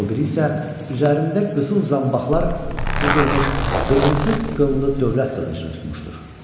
o biri isə üzərində qızıl zanbaqlar cızılmış qırmızı qınlı dövlət qılıncını tutmuşdur.